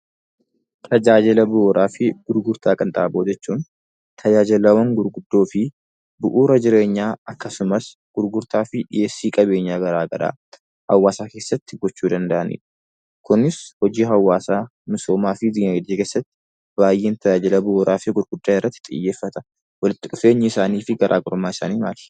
Tajaajila bu'uuraa fi gurgurtaa qinxaaboo jechuun tajaajilawwan gurguddoo fi bu'uura jireenyaa akkasumas gurgurtaa fi dhiheessii qabeenyaa garaa garaa hawaasa keessatti gochuu danda'anidha. Kunis hojii hawaasaa, misoomaa fi diinagdee keessatti baay'een tajaajila bu'uuraa fi gurguddaa irratti xiyyeeffata. Walitti dhufeenyi isaanii fi garaagarummaan isaanii maali?